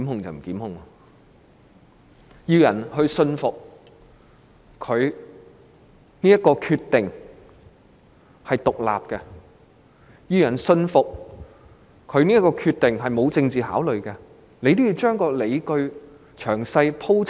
如果她要令人信服這是一個獨立決定，並信服這個決定沒有政治考慮，她應將理據詳細鋪陳。